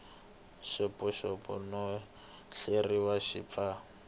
xopaxopiwa no hleriwa xi pfa